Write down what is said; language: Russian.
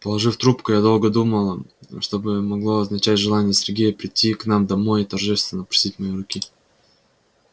положив трубку я долго думала что бы могло означать желание сергея прийти к нам домой и торжественно просить моей руки